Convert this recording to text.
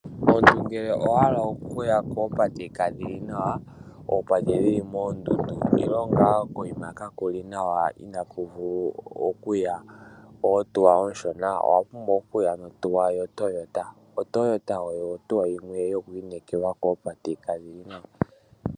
Omuntu ngele owahala okuya koopate kadhili nawa, koopate ndhono dhili moondundu nenge ngaa koyima kakuli nawa ihaku vulu okuya oohauto oonshona owa pumbwa okuya no Toyota . Otoyota oyo ohauto yimwe yoku inekelwa koopate kadhili nawa.